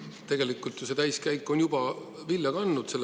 Tegelikult ju see täiskäik on juba vilja kandnud.